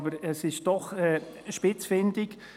Aber es ist auch spitzfindig.